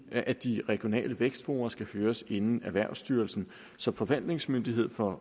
at de regionale vækstfora skal høres inden erhvervsstyrelsen som forvaltningsmyndighed for